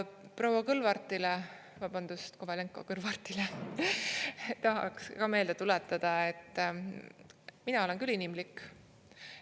Proua Kõlvartile, vabandust, Kovalenko-Kõlvartile tahaks ka meelde tuletada, et mina olen küll inimlik.